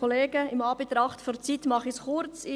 In Anbetracht der Zeit mache ich es kurz.